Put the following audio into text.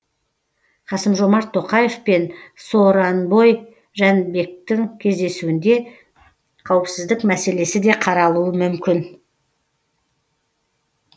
касым жомарт тоқаев пен сооронбой жәнібектің кездесуінде қауіпсіздік мәселесі де қаралуы мүмкін